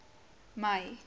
mei